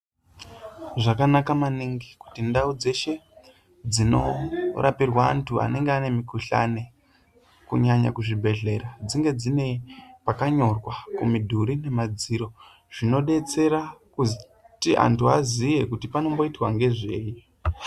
Zvakanaka maningi kuti ndau dzeshe dzinorapirwa anthu anenge ane mikhuhlani kunyanya kuzvibhedhlera dzinge dzine pakanyorwa kumidhuri nemadziro zvinodetsera kuti anthu aziye kuti panomboitwa ngezvei.